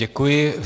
Děkuji.